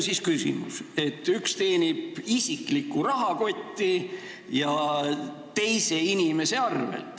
Küsimus on selles, et isiklikku rahakotti teenitakse kasumit teise inimese arvel.